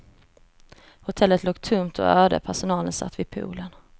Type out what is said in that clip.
Hotellet låg tomt och öde, personalen satt vid poolen.